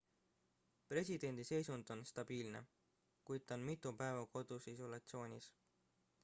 presidendi seisund on stabiilne kuid ta on mitu päeva kodus isolatsioonis